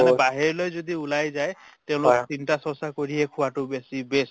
মানে বাহিৰলৈ যদি ওলাই যায় তে অলপ চিন্তা চৰ্চা কৰিহে খোৱাতো বেছি best